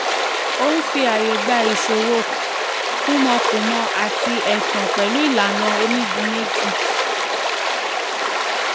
ó ń fi ààyè gba ìṣòwó kúmọkùmọ àti ẹ̀tàn pẹ̀lú ìlànà onígun méjì.